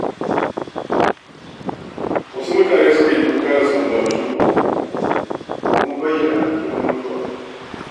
Wasu mutane sukan yi kuka da sambatu domin bayyana alhinin mutuwa.